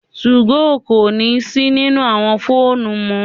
2go kò si nínú àwọn fóònù mọ